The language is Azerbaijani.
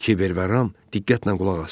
Kiber və Ram diqqətlə qulaq asdılar.